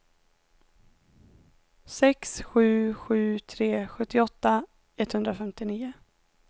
sex sju sju tre sjuttioåtta etthundrafemtionio